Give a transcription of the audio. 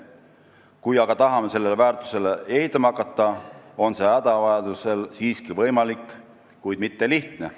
Kui aga tahame sellele väärtusele ehitama hakata, on see hädavajadusel siiski võimalik, kuid mitte lihtne.